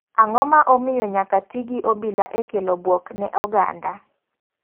Ang'o ma omiyo nyaka ti gi obila e kelo buok ne oganda?